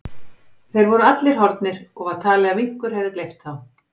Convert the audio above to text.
Þeir voru allir horfnir og var talið að minkur hefði gleypt þá.